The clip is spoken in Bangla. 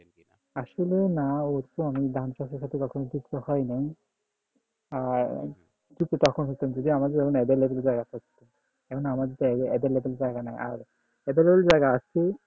আসলে না আমি ধান চাষের সাথে কখনো যুক্ত হয়নাই আর তখন করতাম যখন আমাদের available জায়গা থাকতো এখন আমাদের তো এভেলে available বেল জায়গা নাই available জায়গা আছে